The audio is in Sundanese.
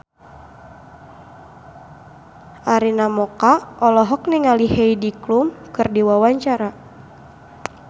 Arina Mocca olohok ningali Heidi Klum keur diwawancara